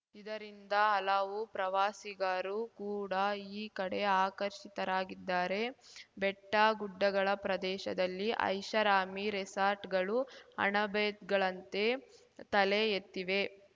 ಇದರಿಂದ ಹಲವು ಪ್ರವಾಸಿಗರೂ ಕೂಡ ಈ ಕಡೆ ಆಕರ್ಷಿತರಾಗಿದ್ದಾರೆ ಬೆಟ್ಟಗುಡ್ಡಗಳ ಪ್ರದೇಶದಲ್ಲಿ ಐಷಾರಾಮಿ ರೆಸಾರ್ಟ್‌ಗಳು ಅಣಬೆಗಳಂತೆ ತಲೆ ಎತ್ತಿವೆ